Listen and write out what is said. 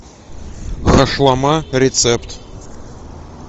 хашлама рецепт